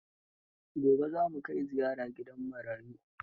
Gobe za mu kai ziyara gidan marayu.